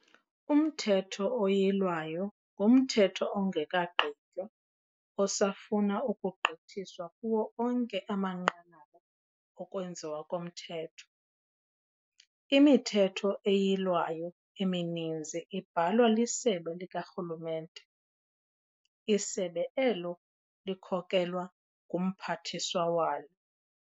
Umthetho oyilwayo ngumthetho ongekagqitywa osafuna ukugqithiswa kuwo onke amanqanaba okwenziwa komthetho. ImiThetho eYilwayo emininzi ibhalwa lisebe likarhulumente, isebe elo likhokelwa ngumphathiswa walo.